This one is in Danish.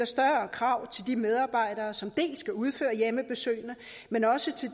større krav til de medarbejdere som skal udføre hjemmebesøgene men også til